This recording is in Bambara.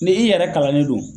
Ne i yɛrɛ kalan ne don